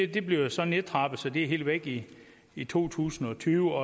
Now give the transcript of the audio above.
det bliver så nedtrappet så det er helt væk i i to tusind og tyve